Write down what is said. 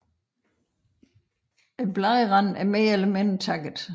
Bladranden er mere eller mindre takket